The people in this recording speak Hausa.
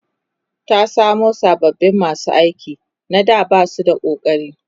ta samu sababin masu aiki na da Basu da ƙokari